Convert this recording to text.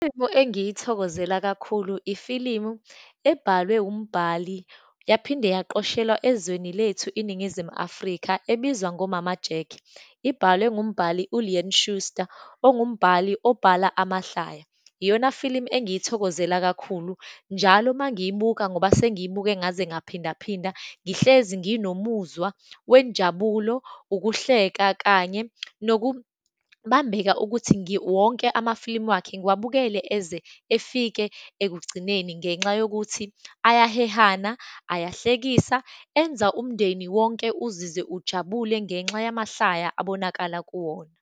engiyithokozela kakhulu, ifilimu ebhalwe umbali yaphinde yaqoshelwa ezweni lethu iNingizimu Afrika, ebizwa ngo-Mama Jack, ibalwe ngumbali u-Leon Schuster, ongumbhali, obhala amahlaya. Iyona filimu engiyithokozela kakhulu, njalo uma ngiyibuka ngoba sengiyibuke ngaze ngaphindaphinda, ngihlezi nginomuzwa wenjabulo, ukuhleka, kanye nokubambeka ukuthi wonke amafilimu wakhe ngiwubekele eze efike ekugcineni, ngenxa yokuthi ayahehana, ayahlekisa, enza umndeni wonke uzizwe ujabule ngenxa yamahlaya abonakala kuwona.